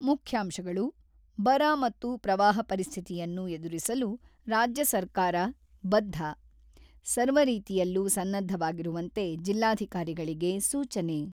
ಮುಖ್ಯಾಂಶಗಳು ಬರ ಮತ್ತು ಪ್ರವಾಹ ಪರಿಸ್ಥಿತಿಯನ್ನು ಎದುರಿಸಲು ರಾಜ್ಯ ಸರ್ಕಾರ ಬದ್ಧ: ಸರ್ವರೀತಿಯಲ್ಲೂ ಸನ್ನದ್ಧವಾಗಿರುವಂತೆ ಜಿಲ್ಲಾಧಿಕಾರಿಗಳಿಗೆ ಸೂಚನೆ.